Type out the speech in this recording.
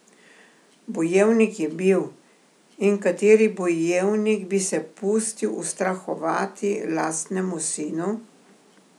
Bojevnik je bil, in kateri bojevnik bi se pustil ustrahovati lastnemu sinu?